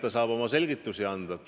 Ta saab oma selgitusi anda.